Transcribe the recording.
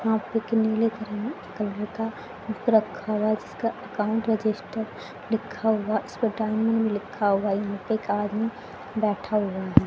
यहां पे एक नीले करर कलर का बुक रखा हुआ हैं जिसका अकाउंट रजिस्टर लिखा हुआ इस पर टाईमिंग लिखा हुआ यहां पे एक आदमी बैठा हुआ है।